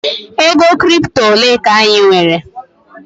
ego crypto ole ka anyị nwere?